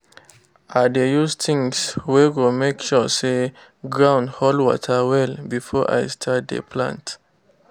i dey use things wey go make sure say ground hold water well before i start dey plant